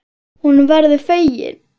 Hún verður fegin.